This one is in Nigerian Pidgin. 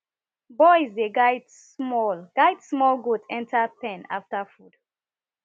boys dey guide small guide small goat enter pen after food